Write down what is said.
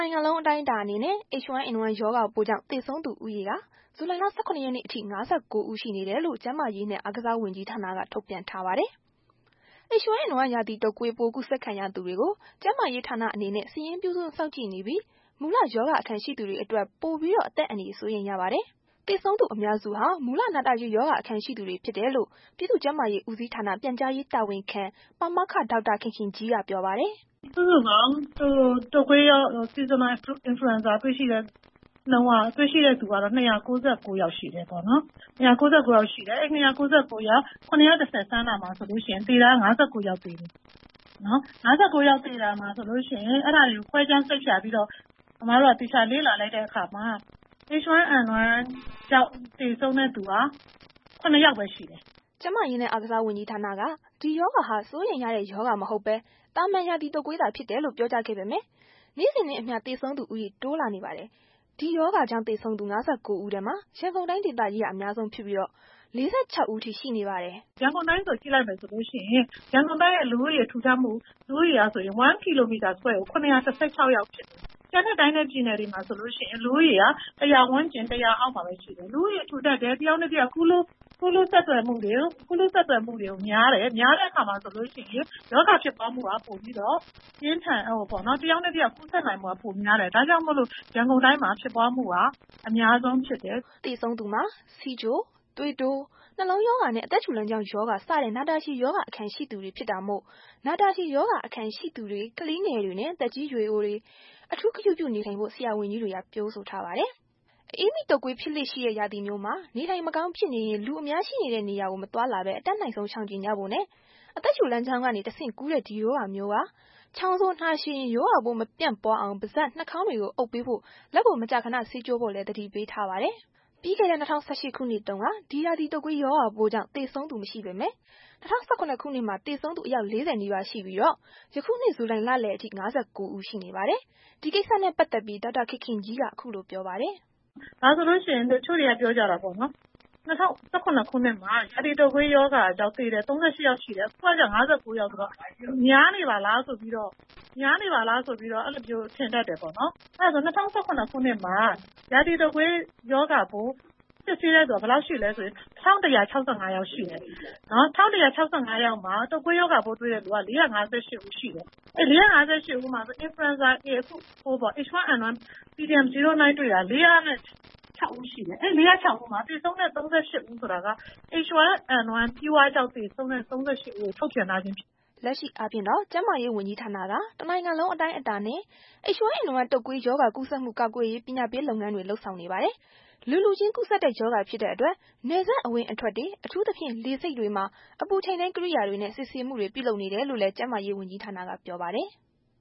ိုင်ငံလုံး အတိုင်းအတာအနေနဲ့ H1N1 ရောဂါပိုးကြောင့် သေဆုံးသူ ဦးရေမှာ ဇူလိုင် ၁၇ ရက်နေ့ အထိ ၅၉ ဦး ရှိနေတယ်လို့ ကျန်းမာရေးနဲ့ အားကစားဝန်ကြီးဌာနက ထုန်ပြန် ထားပါတယ်။ H1N1 ရာသီတုပ်ကွေးပိုး ကူးစက်ခံရသူတွေကို ကျန်းမာရေးဌာနအနေနဲ့ စာရင်းပြု စောင့်ကြည့်နေပြီး၊ မူလ ရောဂါအခံရှိသူတွေအတွက်ပိုပြီးတော့ အသက်အန္တရာယ် စိုးရိမ် ရပါတယ်။ သေဆုံးသူအများစုဟာ မူလ နာတာရှည် ရောဂါအခံရှိသူတွေ ဖြစ်တယ်လို့ ပြည်သူ့ ကျန်းမာရေးဦးစီးဌာန ပြန်ကြားရေးတာဝန်ခံ ပါမောက္ခ ဒေါက်တာခင်ခင်ကြီးက ပြောပါတယ်။ “ စုစုပေါင်း ရာသီတုပ်ကွေးရောဂါ စုစုပေါင်းတွေ့ရှိတဲ့ နှုန်းက တွေ့ရှိတဲ့သူက ၂၉၉ ဦး ရှိတယ်ပေါ့နော် အဲ့ဒီ ၂၉၉ ဦးမှာ ၇၁၀ စမ်းတာဆိုရင် သေတာ ၅၉ ယောက် သေတယ်။ ၅၉ ယောက် သေတာမှာ ဆိုရင် အဲ့ဒါတွေ ခွဲခြားစိတ်ဖြာပြီးတော့ အစ်မတို့က သေချာလေ့လာလိုက်တဲ့အခါမှာ H1N1 ကြောင့် သေဆုံးတဲ့ သူက ၇ ယောက်ပဲရှိတယ်။” ကျန်းမာရေးနဲ့ အားကစားဝန်ကြီးဌာနက ဒီရောဂါဟာ စိုးရိမ်ရတဲ့ ရောဂါမဟုတ်ပဲ သာမာန် ရာသီတုပ်ကွေးသာ ဖြစ်တယ်လို့ ပြောကြားခဲ့ပေမယ့် နေ့စဉ်နဲ့အမျှ သေဆုံးသူဦးရေ တိုးလာနေပါတယ်။ ဒီရောဂါကြောင့် သေဆုံးသူ ၅၉ ဦးထဲမှာ ရန်ကုန်တိုင်းဒေသကြီးက အများဆုံးဖြစ်ပြီး ၄၆ ဦးအထိရှိနေပါတယ်။ “ ရန်ကုန်တိုင်းကို ကြည့်လိုက်မယ်ဆိုရင် ရန်ကုန်တိုင်းရဲ့ လူဦးရေ ထူထပ်မှုအရ 1 kilometer square ကို ၇၁၆ ရှိတယ်။ ကျန်တဲ့တိုင်းနဲ့ပြည်မှာဆိုလို့ရှိရင် လူဦးရေက ၁၀၀ ဝန်းကျင် ၁၀၀ အောက်မှာပဲ ရှိတယ်။ လူဦးရေထူထပ်တယ် တစ်ယောက်နဲ့တစ်ယောက် ကူးလူးဆက်ဆံများတယ်။ များတဲ့အခါမှာဆိုလို့ရှိရင် ရောဂါကူးစက်တာ တစ်ယောက်နဲ့တစ်ယောက်ကူးစက်နိုင်မှုက ပိုများတယ်။ ဒါကြောင့် ရန်ကုန်တိုင်းမှာ ဖြစ်ပွားမှုက အများဆုံးဖြစ်တာ။” သေဆုံးသူမှာ ဆီးချို၊ သွေးတိုး၊ နှလုံးရောဂါနဲ့ အသက်ရှူလမ်းကြောင်းရောဂါ စတဲ့ နာတာရှည်ရောဂါ အခံရှိသူများ ဖြစ်တာမို့ နာတာရှည်ရောဂါအခံရှိသူများ ကလေးငယ်များနဲ့ သက်ကြီးရွယ်အိုများ အထူးဂရုပြုနေထိုင်ဖို့ ဆရာဝန်ကြီးများက ပြောဆိုထားပါတယ်။ အအေးမိတုပ်ကွေး ဖြစ်လေ့ရှိတဲ့ ရာသီမျိုးမှာ နေထိုင်မကောင်းဖြစ်နေရင် လူအများရှိတဲ့နေရာ မသွားလာဘဲ အတတ်နိုင်ဆုံး ရှောင်ကြဉ်ကြဖို့နဲ့ အသက်ရှူလမ်းကြောင်းကနေ တဆင့် ကူးတဲ့ ဒီရောဂါမျိုးက ချောင်းဆိုး၊ နှာချေရင် ရောဂါပိုးမပြန့်ပွားအောင် ပါးစပ် နှာခေါင်းတွေကို အုပ်ပေးဖို့ လက်ကိုမကြာခဏ ဆေးကြောဖို့လည်း သတိပေးထားပါတယ်။ ပြီးခဲ့တဲ့ ၂၀၁၈ ခုနှစ်တုန်းက ဒီရာသီတုပ်ကွေးရောဂါပိုးကြောင့် သေဆုံးသူ မရှိပေမယ့် ၂၀၁၇ ခုနှစ်မှာ သေဆုံးသူ အယောက် ၄၀ နီးပါးရှိပြီး ယခုနှစ် ဒီဇူလိုင်လလယ်အထိ ၅၉ ဦးရှိပါတယ်။ ဒီကိစ္စနဲ့ ပတ်သက်ပြီး ဒေါက်တာခင်ခင်ကြီးက အခုလိုဆက်ပြောပါတယ်။ “ တစ်ချို့တွေက ပြောကြတယ်ပေါ့နော် ၂၀၁၇ ခုနှစ် ရာသီတုပ်ကွေးရောဂါကြောင့် သေတာ ၃၈ ဦးရှိတယ်။ အခုက ၅၉ ယောက်ဆိုတော့ များနေပါလားဆိုပြီးတော့ အဲ့လိုမျိုး ထင်တတ်တာပေါ့နော်။ အဲ့လိုဆို ၂၀၁၇ ခုနှစ်မှာ ရာသီတုပ်ကွေးရောဂါပိုး စစ်ဆေးတဲ့သူ ၁၁၆၅ ယောက်ရှိတယ်။ တုပ်ကွေးရောဂါပိုး တွေ့ရှိသူက ၄၅၈ ဦးရှိတယ်။ အဲဒီ ၄၅၈ ဦးမှာ အခု ဖြစ်တဲ့ H1N1 pdm09 တွေ့သူတဲ့က ၄၀၆ ဦးရှိတယ်၊ အဲ့ဒီသေဆုံး ၃၈ ဦးက H1N1 pure ကြောင့် သေဆုံးတာ ၃၈ ဦးလို့ ထုတ်ပြန်ထားတာဖြစ်တယ်။” လက်ရှိအားဖြင့်တော့ ကျန်းမာရေးဝန်ကြီးဌာနက တစ်နိုင်ငံလုံး အတိုင်းအတာ နဲ့ H1N1 တုပ်ကွေးရောဂါ ကူးစက်မှုကာကွယ်ရေး ပညာပေးလုပ်ငန်းတွေ လုပ်ဆောင်နေပါတယ်။ လူလူချင်းကူးစက်တဲ့ ရောဂါဖြစ်တဲ့အတွက် နယ်စပ်အဝင်အထွက်တွေ အထူးသဖြင့် လေဆိပ်တွေမှာ အပူချိန်တိုင်းကိရိယာတွေနဲ့ စစ်ဆေးမှုတွေ ပြုလုပ်နေတယ်လို့လည်း ကျန်းမာရေးဦးဌာနက ပြောပါတယ်။